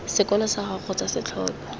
sekolo sag ago kgotsa setlhopha